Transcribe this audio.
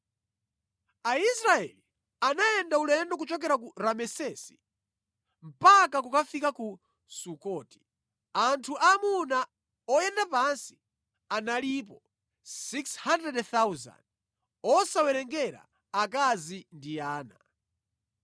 Aisraeli anayenda ulendo kuchokera ku Ramesesi mpaka kukafika ku Sukoti. Anthu aamuna oyenda pansi analipo 600,000 osawerengera akazi ndi ana.